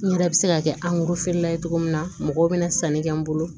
N yɛrɛ bɛ se ka kɛ la ye cogo min na mɔgɔw bɛna sanni kɛ n bolo